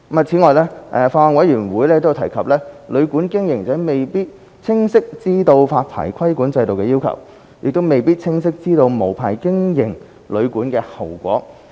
此外，法案委員會有提及，旅館經營者未必清晰知道發牌規管制度的要求，亦未必清晰知道無牌經營旅館的後果。